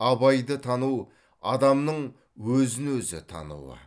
абайды тану адамның өзін өзі тануы